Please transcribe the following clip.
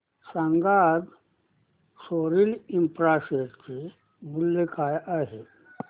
सांगा आज Soril infra share चे मूल्य काय आहे